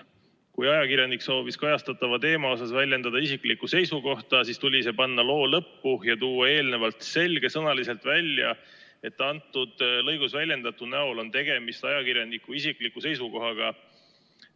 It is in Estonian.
Kui ajakirjanik soovis kajastataval teemal väljendada isiklikku seisukohta, siis tuli see panna loo lõppu ja tuua eelnevalt selgesõnaliselt välja, et selles lõigus väljendatu näol on tegemist ajakirjaniku isikliku seisukohaga.